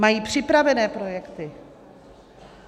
Mají připravené projekty.